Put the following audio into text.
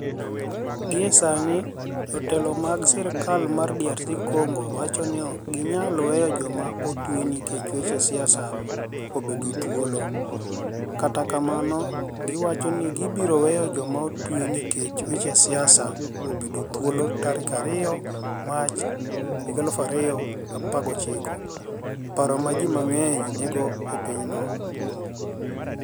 Gie Saanii, jotelo mag sirkal mag DR Conigo wacho nii ok giniyal weyo joma otwe niikech weche siasa obedo thuolo, kata kamano, giwacho nii gibiro weyo joma otwe niikech weche siasa obedo thuolo 2 Mach 2019 Paro ma ji manig'eniy niigo e piny no.